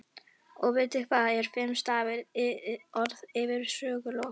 Og vitið þið hvað er fimm stafa orð yfir sögulok?